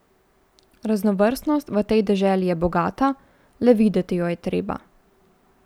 Raznovrstnost v tej deželi je bogata, le videti jo je treba.